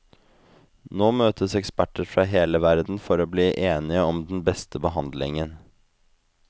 Nå møtes eksperter fra hele verden for å bli enige om den beste behandlingen.